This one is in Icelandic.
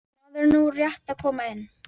Maður er nú rétt að koma inn.